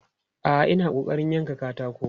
A'a, ina ƙoƙarin yankan katako.